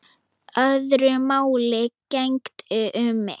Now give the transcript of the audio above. Öðru máli gegndi um mig.